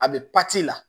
A bɛ la